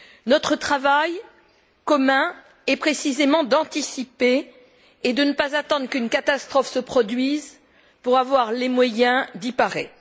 Notre travail commun est précisément d'anticiper et de ne pas attendre qu'une catastrophe se produise pour avoir les moyens d'y parer.